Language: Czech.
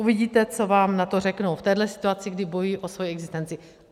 Uvidíte, co vám na to řeknou v téhle situaci, kdy bojují o svoji existenci.